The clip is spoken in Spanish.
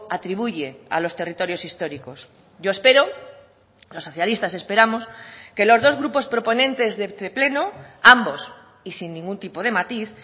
atribuye a los territorios históricos yo espero los socialistas esperamos que los dos grupos proponentes de este pleno ambos y sin ningún tipo de matiz